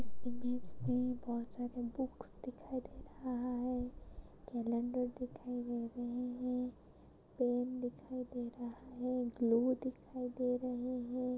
इस इमेज मे बहुत सारे बुक्स दिखाई दे रहा है। कलेंडर दिखाई दे रहे है। पेन दिखाई दे रहा है ग्लू दिखाई दे रहे है।